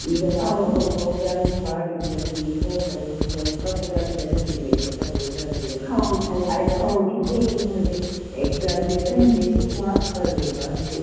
ಈಗ ನಾನು programming ಮಾಡಿದ್ದು ನನ್ಗೆ ಈಗ ಉಂಟಲ ಒಂದು ಸ್ವಲ್ಪ ಕೂಡ ಅದು ನೆನಪಿಲ್ಲ ಎಂತ programming ಅಂತ , exam ಗೆ ಬರಿಬೇಕು marks ಬರ್ಬೇಕು ಅಷ್ಟೆ.